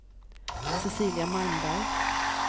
Cecilia Malmberg